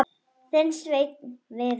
Þinn Sveinn Viðar.